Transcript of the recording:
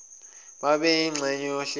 babe yingxenye yohlelo